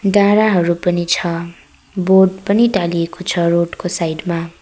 डाँडाहरू पनि छ बोर्ड पनि टालिएको छ रोड को साइड मा।